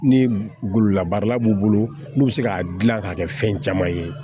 Ni gololabaara b'u bolo n'u bɛ se k'a dilan k'a kɛ fɛn caman ye